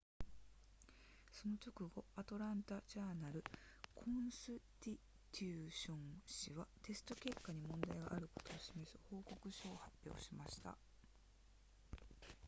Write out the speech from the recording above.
その直後アトランタジャーナルコンスティテューション誌はテスト結果に問題があることを示す報告書を発表しました